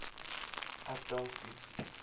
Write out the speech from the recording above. ek dank u